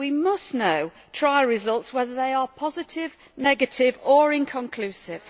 We must know trial results, whether they are positive, negative or inconclusive.